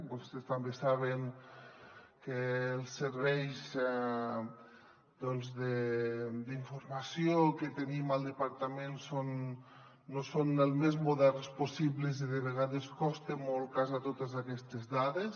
vostès també saben que els serveis d’informació que tenim al departament no són els més moderns possibles i de vegades costa molt casar totes aquestes dades